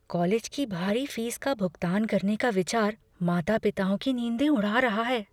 College की भारी fees का भुगतान करने का विचार माता पिताओं की नींदें उड़ा रहा है।